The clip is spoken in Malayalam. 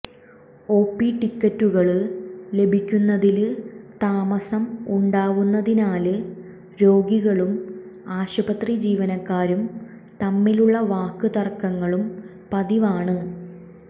ഒപി ടിക്കറ്റുകള് ലഭിക്കുന്നതില് താമസം ഉണ്ടാവുന്നതിനാല് രോഗികളും ആശുപത്രി ജീവനക്കാരും തമ്മിലുള്ള വാക്ക് തര്ക്കങ്ങളും പതിവാണ്